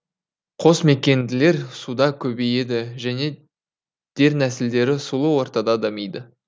қосмекенділер суда көбейеді және дернәсілдері сұлу ортада дамиды